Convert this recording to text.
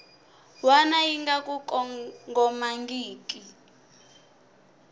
wana yi nga ku kongomangiki